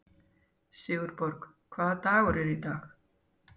Sigurborg, hvaða dagur er í dag?